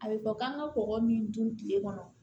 A bɛ fɔ k'an ka kɔgɔ min dun kile kɔnɔ